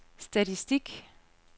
statistik